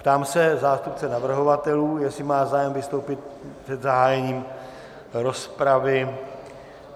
Ptám se zástupce navrhovatelů, jestli má zájem vystoupit před zahájením rozpravy.